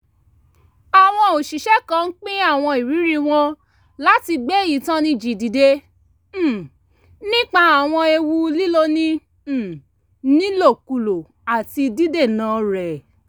àwọn òṣìṣẹ́ kan ń pín àwọn ìrírí wọn láti gbé ìtanijí dìde um nípa àwọn ewu líloni um nílòkulò àti dídènà rẹ̀